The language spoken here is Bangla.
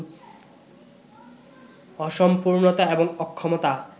অসম্পূর্ণতা এবং অক্ষমতা